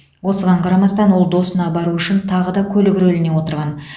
осыған қарамастан ол досына бару үшін тағы да көлік рөліне отырған